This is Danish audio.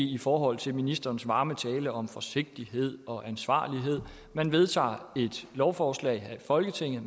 i forhold til ministerens varme tale om forsigtighed og ansvarlighed man vedtager et lovforslag her i folketinget